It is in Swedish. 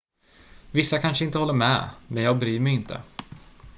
"""vissa kanske inte håller med men jag bryr mig inte.